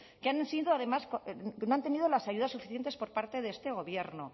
que han sido además que no han tenido las ayudas suficientes por parte de este gobierno